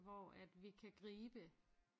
Hvor at vi kan gribe